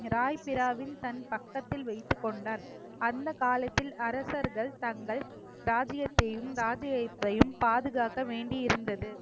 ராய் பிராவின் தன் பக்கத்தில் வைத்துக் கொண்டார் அந்த காலத்தில் அரசர்கள் தங்கள் தாதியத்தையும் தாதியத்தையும் பாதுகாக்க வேண்டி இருந்தது